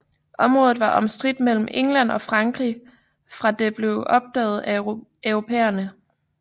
Området var omstridt mellem England og Frankrig fra det blev opdaget af europæerne